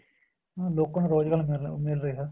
ਲੋਕਾ ਨੂੰ ਰੋਜਗਾਰ ਮਿਲ ਰਿਹਾ